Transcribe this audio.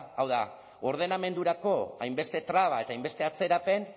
ezta hau da ordenamendurako hainbeste traba eta hainbeste atzerapen